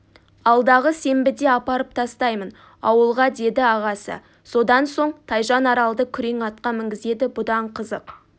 алдағы сенбіде апарып тастаймын ауылға деді ағасы содан соң тайжан аралды күрең атқа мінгізеді бұдан қызық